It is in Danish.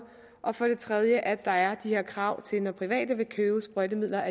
og for det tredje at der er de her krav til at private vil købe sprøjtemidler